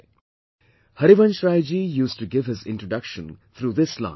kHkj thou esjk ifjp;" Harivansh Rai Ji used to give his introduction through this line